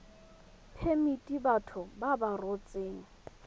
phemiti batho ba ba rotseng